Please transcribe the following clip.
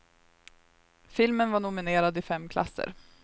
Filmen var nominerad i fem klasser.